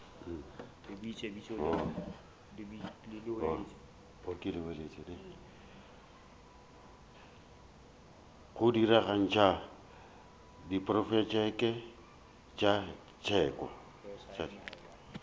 go diragatša diprotšeke tša teko